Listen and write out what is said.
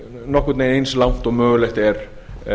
nokkurn veginn eins langt og mögulegt er